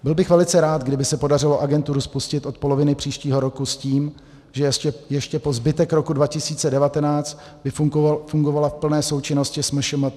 Byl bych velice rád, kdyby se podařilo agenturu spustit od poloviny příštího roku s tím, že ještě po zbytek roku 2019 by fungovala v plné součinnosti s MŠMT.